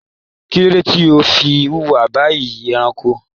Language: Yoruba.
Kilode tí o fí wuwa bíi ẹranko?